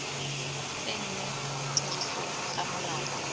tsenngwa tirisong ga molao ono